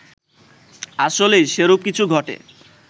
আসলেই সেরূপ কিছু ঘটে